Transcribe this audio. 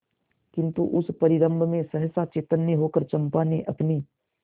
किंतु उस परिरंभ में सहसा चैतन्य होकर चंपा ने अपनी